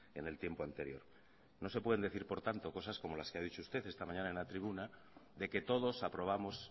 en el tiempo anterior no se pueden decir por tanto cosas como las que ha dicho usted esta mañana en la tribuna de que todos aprobamos